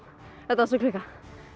þetta var svo klikkað